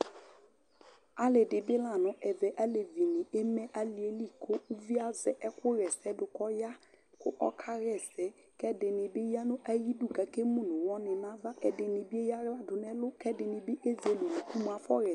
ali dibi la nʋ ɛɣɛ, alɛvi ni ɛmɛ aliɛli kʋ ʋviɛ azɛ ɛkʋyɛ sɛdʋ kʋ ɔya kʋ ɔkayɛsɛ kʋ ɛdini bi yanʋ ayidʋ kʋ ɛkɛ mʋnʋ ɔwɔ ni nʋ aɣa, ɛdini bi ɛyala dʋnʋ ɛlʋ kʋ ɛdinibi ɛzɛlɛ ʋnʋkʋ mʋ aƒɔ yɛsɛ